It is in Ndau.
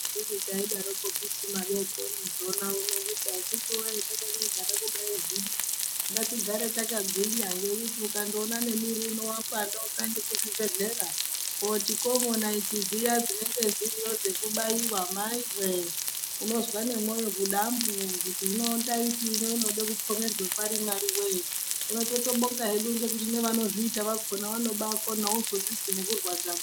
Anditi taidaroko kisi madekoni zona uno kuti akitiwe takanyagara kudai zvino ngatigare yakagwinya ngekuti ukandoona nemwiri uno wapanda ukaende kuzvibhedhlera koti Kobo naiti dziya dzinenge dziriyo dzekubaiwa maiwe unozwa nemwoyo kuti dambu hino inode kupfomerwe pari Mwariwe hino totobinga hedu nevanozviita vakona vanobakona auzodzizwi nekurwadza.